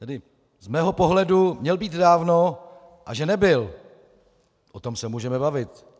Tedy z mého pohledu měl být dávno, a že nebyl, o tom se můžeme bavit.